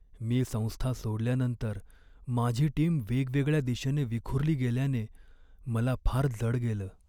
मी संस्था सोडल्यानंतर माझी टीम वेगवेगळ्या दिशेने विखुरली गेल्याने मला फार जड गेलं.